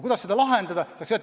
Kuidas seda lahendada?